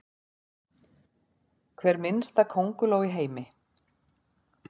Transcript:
Hver minnsta könguló í heimi?